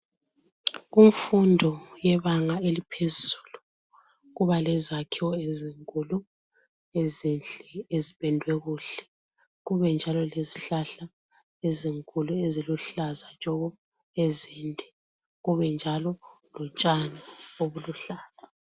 kumfundo yebanga eliphezulu kuba lezakhiwo ezinkulu ezipendwe kuhle kubenjalo lezihlahla ezinkulu eziluhlaza tshoko ezinde kubenjalo lotshani obuluhlaza